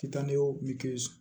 Kita nege